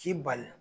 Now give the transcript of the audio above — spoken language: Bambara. K'i bali